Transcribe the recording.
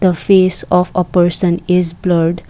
the face of a person is blurred.